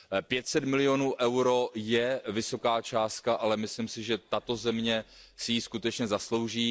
Pět set milionů eur je vysoká částka, ale myslím si, že tato země si ji skutečně zaslouží.